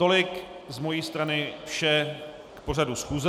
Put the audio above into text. Tolik z mojí strany vše k pořadu schůze.